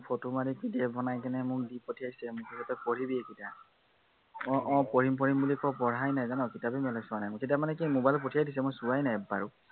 photo মাৰি PDF বনাই কিনে মোক দি পঠিয়াইছে, মুঠতে তই পঢ়িবি এইকেইটা। আহ আহ পঢ়িম পঢ়িম বুলি কওঁ পঢ়াই নাই জান, কিতাপেই মেলি চোৱা নাই, কিতাপ মানে কি mobile ত পঠিয়াই দিছে মই চোৱা নাই এবাৰো